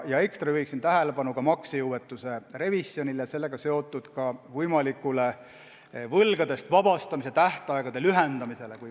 Ekstra juhin tähelepanu aga maksejõuetuse revisjonile ja sellega seotud võimalikule võlgadest vabastamise tähtaegade lühendamisele.